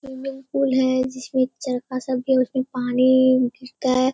Swimming pool है जिसमे चरखा सब भी उसमे पानी गिरता है।